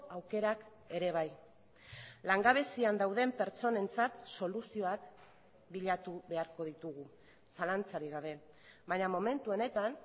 aukerak ere bai langabezian dauden pertsonentzat soluzioak bilatu beharko ditugu zalantzarik gabe baina momentu honetan